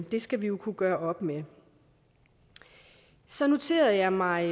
det skal vi jo kunne gøre op med så noterede jeg mig